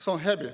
See on häbi.